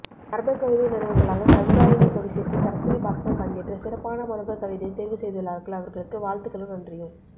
மரபுக்கவிதை நடுவர்களாக கவிதாயினி கவிச்சிற்பி சரஸ்வதி பாஸ்கரன் பங்கேற்று சிறப்பான மரபுக் கவிதைகள் தேர்வு செய்துள்ளார்கள் அவர்களுக்கு வாழ்த்துகளும் நன்றியும்